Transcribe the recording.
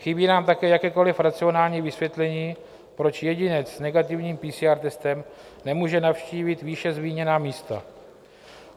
Chybí nám také jakékoli racionální vysvětlení, proč jedinec s negativním PCR testem nemůže navštívit výše zmíněná místa.